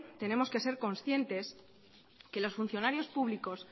tenemos que ser conscientes que los funcionarios públicos